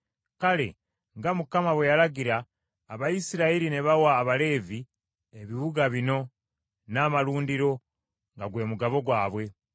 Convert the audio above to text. Kale, nga Mukama bwe yalagira, Abayisirayiri ne bawa Abaleevi ebibuga bino n’amalundiro nga gwe mugabo gwabwe.